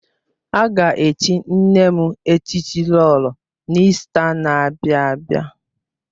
A ga-echi nne m echichi Lolo n'Ista n'abia abịa